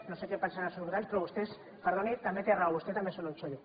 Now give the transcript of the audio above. no sé que en pensaran els seus votants però vostès perdoni també té raó vostès també són un txollo